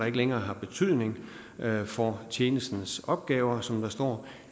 ikke længere har betydning for tjenestens opgaver som der står